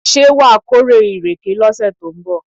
Ṣé wàá kórè ìrèké lọ́sẹ̀ tó ń bọ̀?